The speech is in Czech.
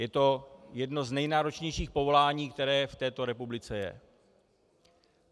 Je to jedno z nejnáročnějších povolání, které v této republice je.